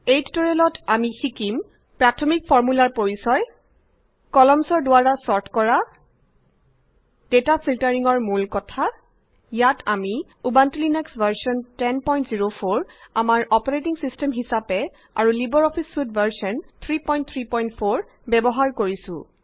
এই টিউটৰিয়েলত আমি শিকিম প্ৰাথমিক ফৰ্মূলাৰ পৰিচয় কলাম্নছ দ্বাৰা ছৰ্ট কৰা ডাটা ফিল্টাৰিং ৰ মূল কথা ইয়াত আমি ইউবান্টু লাইনাক্স ভাৰ্জন 1004 আমাৰ অপাৰেটিং ছিষ্টেম হিচাপে আৰু লিবাৰ অফিচ ছুইট ভাৰ্জন 334 ব্যৱহাৰ কৰিছো